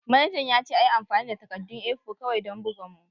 Manajan ya ce a yi amfani da takaddun A4 kawai don bugan mu